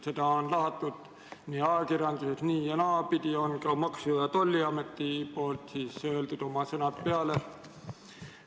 Seda on lahatud ajakirjanduses nii- ja naapidi ning ka Maksu- ja Tolliamet on omad sõnad peale lugenud.